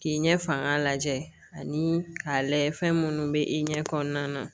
K'i ɲɛ faga lajɛ ani k'a lajɛ fɛn minnu bɛ i ɲɛ kɔnɔna na